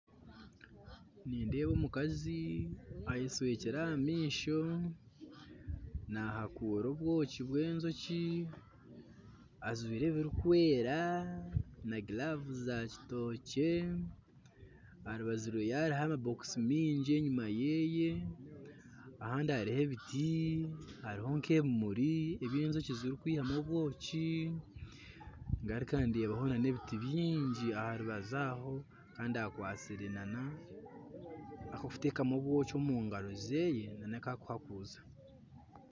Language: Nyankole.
Nindeeba omukazi ayeshwekire aha maisho nahakuura obwoki bw'enjoki ajwaire ebirikwera na giravuzi za kitookye aha rubaju rwe hariho amabookisi maingi enyima ye ahandi hariho ebiti hariho nk'ebimuri ebi enjoki zirikwihamu obwoki ngaruka ndeebaho n'ebiti bingi aha rubaju aho kandi akwastire n'ak'okutamu obwoki omu ngaro ze n'aku arikuhakuuza